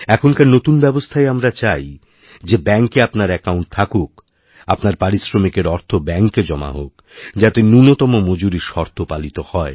এখনকার নতুন ব্যবস্থায় আমরাচাই যে ব্যাঙ্কে আপনার অ্যাকাউন্ট থাকুক আপনার পারিশ্রমিকের অর্থ ব্যাঙ্কে জমাহোক্ যাতে ন্যূণতম মজুরির শর্ত পালিত হয়